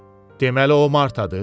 Deməli o Martadır?